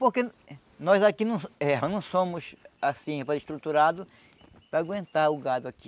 Porque nós aqui não eh não somos, assim, estruturados para aguentar o gado aqui.